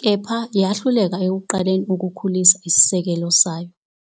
kepha yahluleka ekuqaleni ukukhulisa isisekelo sayo.